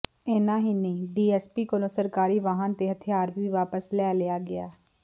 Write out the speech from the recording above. ਇੰਨਾ ਹੀ ਨਹੀਂ ਡੀਐੱਸਪੀ ਕੋਲੋਂ ਸਰਕਾਰੀ ਵਾਹਨ ਤੇ ਹਥਿਆਰ ਵੀ ਵਾਪਸ ਲੈ ਲਿਆ ਗਿਆ